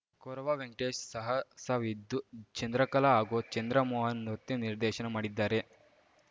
ಕೊರವ ವೆಂಕಟೇಶ್‌ ಸಾಹಸವಿದ್ದು ಚಂದ್ರಕಲಾ ಹಾಗೂ ಚಂದ್ರಮೋಹನ್‌ ನೃತ್ಯ ನಿರ್ದೇಶನ ಮಾಡಿದ್ದಾರೆ